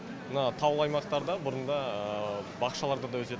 мына таулы аймақтарда бұрында бақшаларда да өсетін